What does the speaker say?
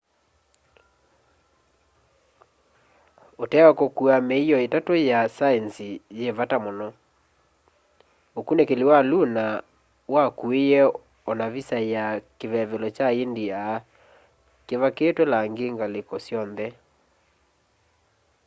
utee wa kukua miio itatu ya saenzi yi vata muno ukunikili wa lunar wakuiye o na visa ya kivevelo kya india kivakitwe langi ngaliko syonthe